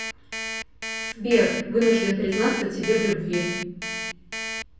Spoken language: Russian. сбер вынужден признаться тебе в любви